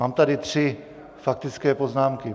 Mám tady tři faktické poznámky.